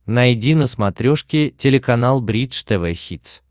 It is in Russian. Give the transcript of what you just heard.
найди на смотрешке телеканал бридж тв хитс